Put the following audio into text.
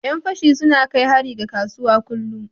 Yan fashi suna na kai hari ga kasuwa kullum.